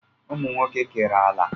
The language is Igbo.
Ụmụnwoke kere ala